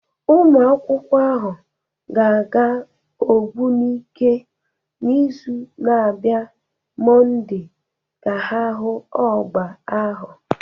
Ụmụakwụkwọ ahụ ga-aga Ogbunike n'izu na-abịa Monday ka ha hụ ọgba ahụ